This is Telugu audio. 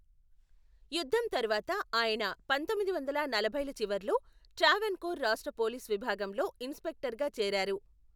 యుద్ధం తరువాత, ఆయన పంతొమ్మిది వందల నలభైల చివరలో ట్రావెన్కోర్ రాష్ట్ర పోలీసు విభాగంలో ఇన్స్పెక్టర్గా చేరారు.